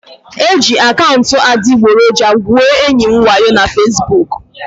E jiri akaụntụ adịgboroja gwuo enyi m wayo na Fesbuku